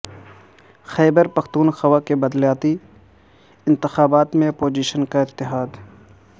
خیبر پختونخوا کے بلدیاتی انتخابات میں اپوزیشن کا اتحاد